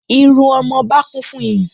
Irú ọmọba kún fún iyùn